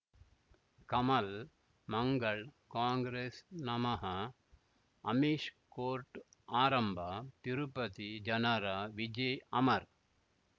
ಕಮಲ್ ಮಂಗಳ್ ಕಾಂಗ್ರೆಸ್ ನಮಃ ಅಮಿಷ್ ಕೋರ್ಟ್ ಆರಂಭ ತಿರುಪತಿ ಜನರ ವಿಜಯ ಅಮರ್